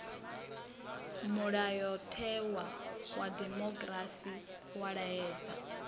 mulayotewa wa dimokirasi wa laedza